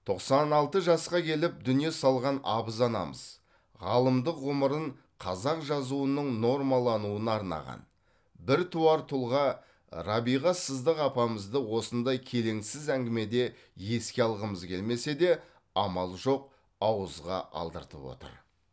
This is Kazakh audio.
тоқсан алты жасқа келіп дүние салған абыз анамыз ғалымдық ғұмырын қазақ жазуының нормалануына арнаған біртуар тұлға рабиға сыздық апамызды осындай келеңсіз әңгімеде еске алғымыз келмесе де амал жоқ ауызға алдыртып отыр